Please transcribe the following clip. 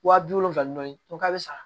Wa bi wolonwula ni dɔɔnin k'a bɛ sa